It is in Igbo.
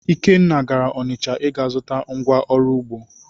Ikenna gara Ọnịcha ịga zụta ngwa oru ugbo.